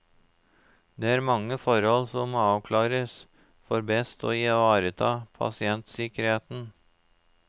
Det er mange forhold som må avklares for best å ivareta pasientsikkerheten.